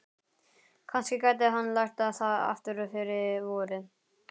Kannski gæti hann lært það aftur fyrir vorið.